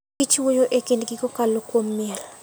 Kich wuoyo e kindgi kokalo kuom miel.